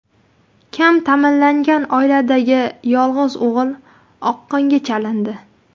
Kam ta’minlangan oiladagi yolg‘iz o‘g‘il oqqonga chalindi.